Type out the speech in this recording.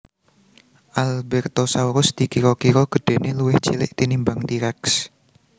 Albertosaurus dikira kira gedhéné luwih cilik tinimbang T Rex